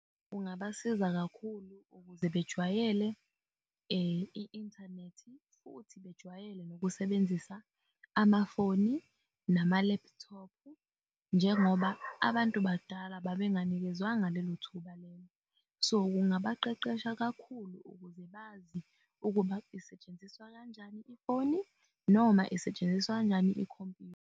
Kungabasiza kakhulu ukuze bejwayele i-inthanethi futhi bejwayele nokusebenzisa amafoni nama laptop-u. Njengoba abantu abadala babenganikezwanga lelo thuba lelo, so kungaba qeqesha kakhulu ukuze bazi ukuba isetshenziswa kanjani ifoni noma isetshenziswa kanjani ikhompuyutha.